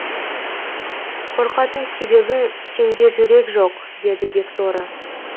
қорқатын себебің сенде жүрек жоқ деді бекторы